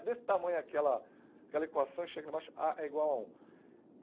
É desse tamanho aquela aquela equação, chega lá embaixo, á é igual a um.